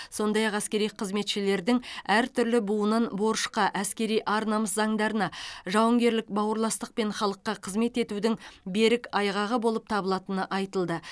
сондай ақ әскери қызметшілердің әртүрлі буынын борышқа әскери ар намыс заңдарына жауынгерлік бауырластық пен халыққа қызмет етудің берік айғағы болып табылатыны айтылды